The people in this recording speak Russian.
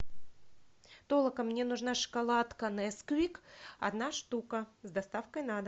толока мне нужна шоколадка несквик одна штука с доставкой на дом